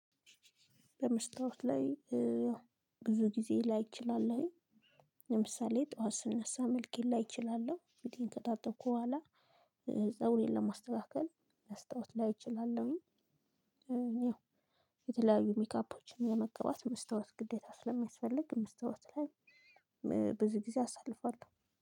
በመስታወት ላይ ያው ብዙ ጊዜ ላይ እችላለሁኝ። ለምሳሌ ጠዋት ስነሳ መልኬን ላይ እችላለሁ ፊቴን ከታጠብኩ በኋላ። ፀጉሬን ለማስተካከል መስታወት ላይ እችላለሁኝ። ያው የተለያዩ ሜካፖችን ለመቀባት መስታወት ግዴታ ስለሚያስፈልግ መስታወት ላይ። በዙ ጊዜ አሳልፋለው